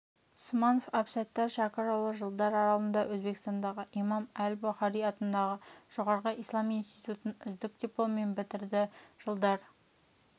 сманов әбсаттар шәкірұлы жылдар аралығында өзбекстандағы имам әл-бұхари атындағы жоғары ислам институтын үздік дипломмен бітірді жылдар